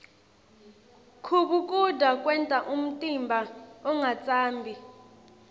kubhukuda kwenta umtimba ungatsambi